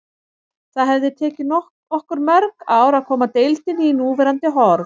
Það hefði tekið okkur mörg ár að koma deildinni í núverandi horf.